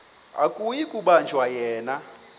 akuyi kubanjwa yena